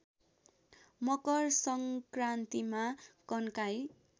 मकर सङ्क्रान्तिमा कन्काई